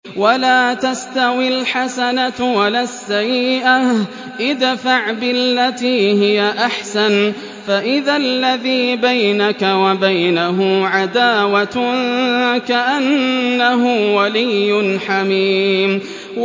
وَلَا تَسْتَوِي الْحَسَنَةُ وَلَا السَّيِّئَةُ ۚ ادْفَعْ بِالَّتِي هِيَ أَحْسَنُ فَإِذَا الَّذِي بَيْنَكَ وَبَيْنَهُ عَدَاوَةٌ كَأَنَّهُ وَلِيٌّ حَمِيمٌ